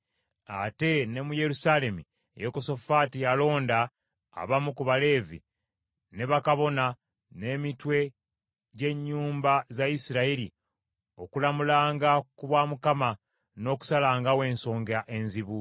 Ate ne mu Yerusaalemi Yekosafaati yalonda abamu ku Baleevi, ne bakabona, n’emitwe gy’ennyumba za Isirayiri okulamulanga ku bwa Mukama , n’okusalangawo ensonga enzibu.